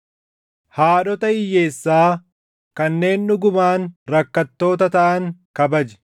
Haadhota hiyyeessaa kanneen dhugumaan rakkattoota taʼan kabaji.